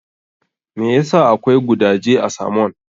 Me ya sa akwai gudaje a samon?